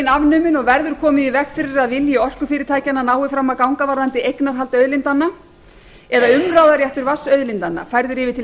afnumin og verður komið í veg fyrir að vilji orkufyrirtækjanna nái fram að ganga varðandi eignarhald auðlindanna eða umráðaréttur vatnsauðlindanna færður yfir til